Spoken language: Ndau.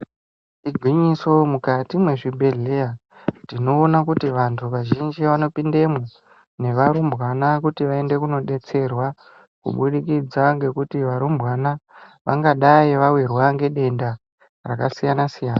Igwinyiso mukati mwezvibhedhleya tinoona kuti vantu vazvinji vanopindemwo nevarumbwana kuti vaende kunobetserwa. Kubudikidza ngekuti varumbwana vangadai vavirwa ngedenda rakasiyana-siyana.